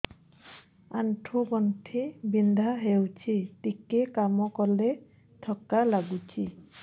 ଆଣ୍ଠୁ ଗଣ୍ଠି ବିନ୍ଧା ହେଉଛି ଟିକେ କାମ କଲେ ଥକ୍କା ଲାଗୁଚି